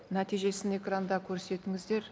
нәтижесін экранда көрсетіңіздер